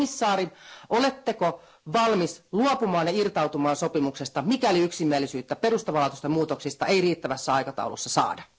Komissaari, oletteko valmis luopumaan ja irtautumaan sopimuksesta, mikäli yksimielisyyttä perustavanlaatuisista muutoksista ei riittävässä aikataulussa saada?